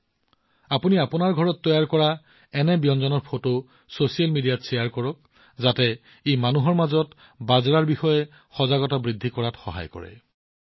আপোনালোকে আপোনালোকৰ ঘৰত তৈয়াৰ কৰা এনে ব্যঞ্জনৰ ফটো ছচিয়েল মিডিয়াত শ্বেয়াৰ কৰিব যাতে ই মানুহৰ মাজত বাজৰাৰ বিষয়ে সজাগতা বৃদ্ধি কৰাত সহায় কৰে